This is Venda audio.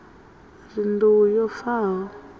ri nḓou yo fa ho